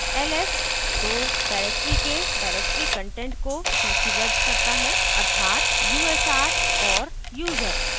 ls 2 directory के directory content को सूचीबद्ध करता है अर्थात /usr और /user